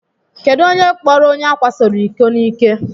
Kedụ onye kpọọrọ onye ákwásoro iko n'ike?